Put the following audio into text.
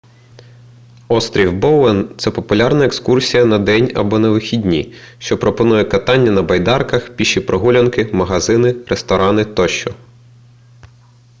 острів боуен це популярна екскурсія на день або на вихідні що пропонує катання на байдарках піші прогулянки магазини ресторани тощо